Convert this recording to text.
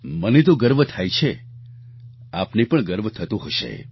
મને તો ગર્વ થાય છે આપને પણ ગર્વ થતો હશે